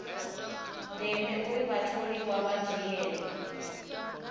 ndeme uri vhatholiwa vha dzhiele